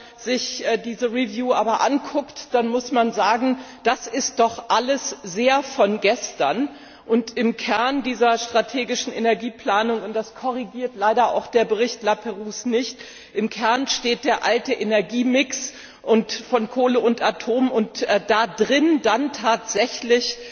Wenn man sich diese Überprüfung aber ansieht, dann muss man sagen Das ist doch alles sehr von gestern! Im Kern dieser strategischen Energieplanung und das korrigiert leider auch der Bericht Laperrouze nicht steht der alte Energiemix von Kohle und Atom, und darin wird dann tatsächlich